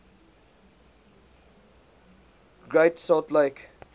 great salt lake